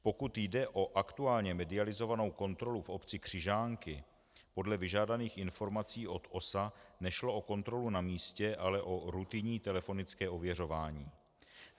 Pokud jde o aktuálně medializovanou kontrolu v obci Křižánky, podle vyžádaných informací od OSA nešlo o kontrolu na místě, ale o rutinní telefonické ověřování.